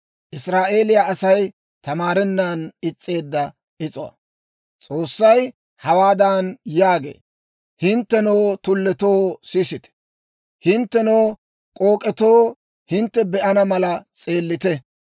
S'oossay hawaadan yaagee; «Hinttenoo tulletoo, sisite; hinttenoo k'ook'etoo, hintte be'ana mala s'eellite.